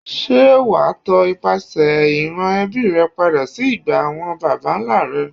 Ṣé wàá tọ ipasẹ̀ ìran ẹbí rẹ padà sí ìgbà àwọn baba ńlá rẹ.